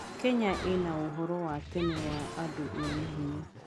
Kenya ĩnaũhoro wa tene wa andũ mena hinya.